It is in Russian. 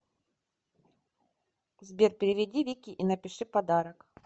сбер переведи вике и напиши подарок